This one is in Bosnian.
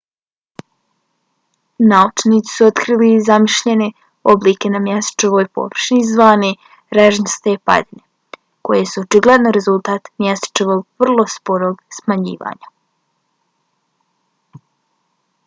naučnici su otkrili zemljišne oblike na mjesečevoj površini zvane režnjaste padine koje su očigledno rezultat mjesečevog vrlo sporog smanjivanja